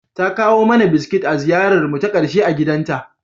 Ta kawo mana biskit a ziyararmu ta ƙarshe a gidanta.